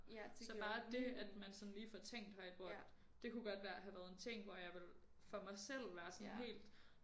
Så bare dét at man sådan lige får tænkt højt hvor at det kunne godt være have været sådan et ting hvor jeg ville for mig selv være sådan helt